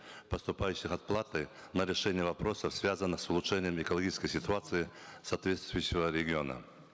поступающих от платы на решение вопросов связанных с улучшением экологической ситуации соответствующего региона